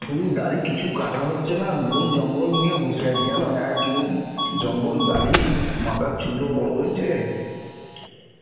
চুল দাড়ি কিছু কাটা হচ্ছে না, বন জঙ্গল নিয়ে বসে আছি জানো এক মুখ জঙ্গল দাড়ি, মাথার চুলও বড় হয়েছে